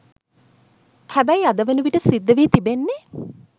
හැබැයි අද වනවිට සිද්ධ වී තිබෙන්නේ